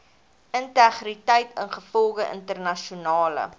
integriteit ingevolge internasionale